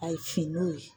A ye finn'o ye